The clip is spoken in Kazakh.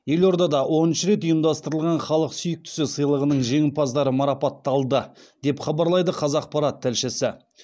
елордада оныншы рет ұйымдастырылған халық сүйіктісі сыйлығының жеңімпаздары марапатталды деп хабарлайды қазақпарат тілшісі